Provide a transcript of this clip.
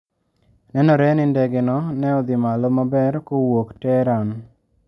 Nenore ni ndege no ne odhi malo maber kowuok Tehran.